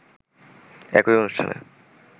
একই অনুষ্ঠানে